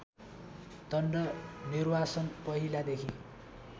दण्ड निर्वासन पहिलादेखि